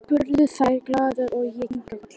spurðu þær glaðar og ég kinkaði kolli.